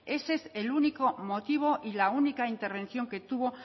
ese es el único motivo y la única intervención que tuvo